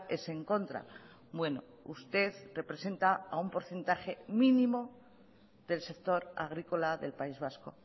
es en contra bueno usted representa a un porcentaje mínimo del sector agrícola del país vasco